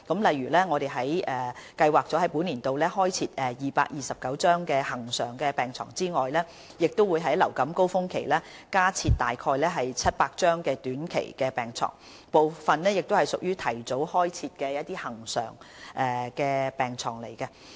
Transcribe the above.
例如我們計劃在本年度開設229張恆常病床，亦會在流感高峰期加設大約700張短期病床，部分亦屬於提早開設的恆常病床。